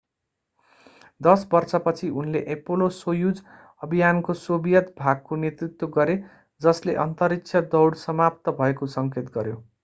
दश बर्षपछि उनले एपोलो-सोयुज अभियानको सोभियत भागको नेतृत्व गरे जसले अन्तरिक्ष दौड समाप्त भएको सङ्केत गर्यो